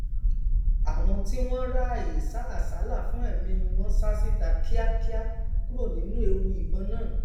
àwọn tí wọn ráàyè sá àsálà fún ẹmí wọn sá síta kíákíá kúro nínú ewu ìbọn náà